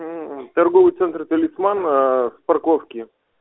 торговый центр талисман с парковки